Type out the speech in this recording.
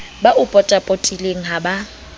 ba o potapotileng ha ba